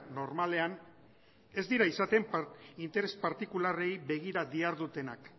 normalean ez dira izaten interes partikularrei begira dihardutenak